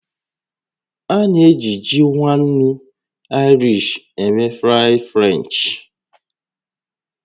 A na-eji ji nwa ńnú Irish eme fries French